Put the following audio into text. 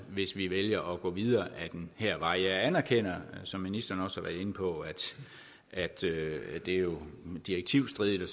hvis vi vælger at gå videre ad den her vej jeg anerkender som ministeren også har været inde på at det jo er direktivstridigt og